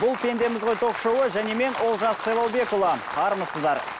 бұл пендеміз ғой ток шоуы және мен олжас сайлаубекұлы армысыздар